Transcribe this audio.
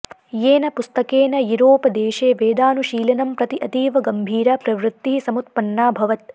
येन पुस्तकेन युरोपदेशे वेदानुशीलनं प्रति अतीव गम्भीरा प्रवृत्तिः समुत्पन्नाऽभवत्